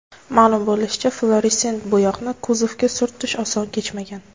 Ma’lum bo‘lishicha, fluoressent bo‘yoqni kuzovga surtish oson kechmagan.